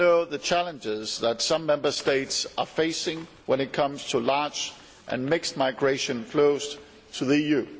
We all know the challenges that some Member States are facing when it comes to large and mixed migration flows to the EU.